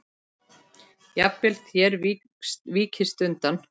Jafnvel þér víkist undan!